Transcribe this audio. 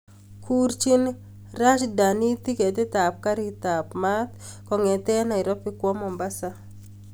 Kurchin rajdhani tiketit ap karit ap maat kongeten nairobi kwo mombasa